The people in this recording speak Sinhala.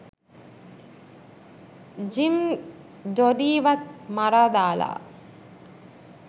ජිම් ඩොඩීවත් මරා දාලා